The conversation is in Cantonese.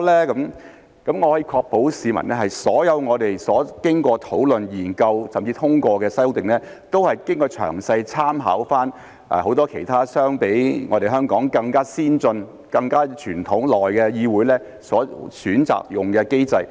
我可以向市民確保，所有我們經過討論、研究甚至通過的修訂，都是詳細參考了很多其他相比香港更加先進、傳統更加悠久的議會所選擇採用的機制。